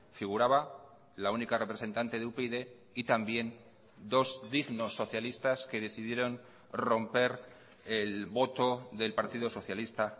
figuraba la única representante de upyd y también dos dignos socialistas que decidieron romper el voto del partido socialista